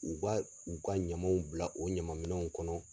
U ba u ka ɲamaw bila o ɲama minɛnw kɔnɔ.